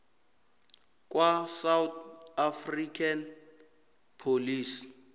kwasouth african police